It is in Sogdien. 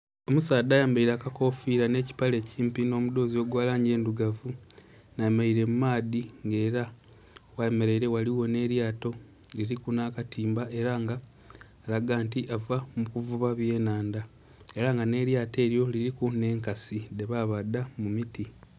Omusaadha ayambaire akofiira nheki kipale ekimpi nho mudhozi ogwa langi endhirugavu nga bemereire mumaadhi nga era ghebemereire ghaligho nh'elyato nga liriku nhakatimba era nga alaga nti ava mukuvuba eby'enhandha era nga nh'elyato elyo liriku nhenkansi dhebabadha mumiti.